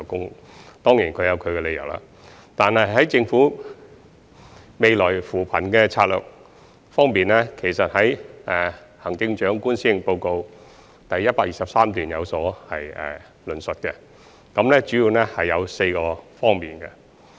他們當然有其本身的理由，但在政府的未來扶貧策略方面，行政長官已在施政報告第123段有所論述，主要可分為4個方面。